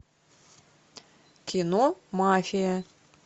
кино мафия